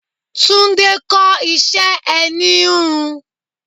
Tunde kọ́ iṣẹ́ ẹni íhùn íhùn.